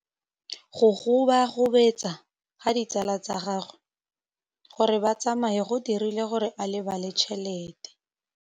Go gobagobetsa ga ditsala tsa gagwe, gore ba tsamaye go dirile gore a lebale tšhelete.